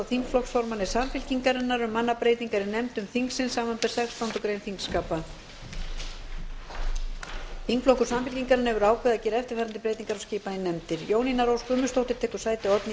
þingflokkur samfylkingarinnar hefur ákveðið að gera eftirfarandi breytingar á skipan í nefndir jónína rós guðmundsdóttir tekur sæti oddnýjar